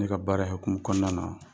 Ne ka baara in hokumu kɔnƆna na.